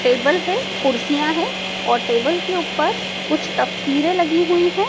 Table है कुर्सियां हैं और टेबल के ऊपर कुछ तस्वीरें लगी हुई हैं।